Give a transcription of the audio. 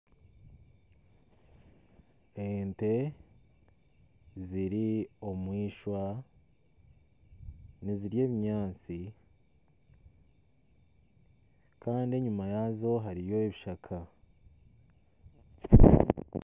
Ente ziri omu ishwa nizirya ebinyaatsi kandi enyima yaazo hariyo ebishaka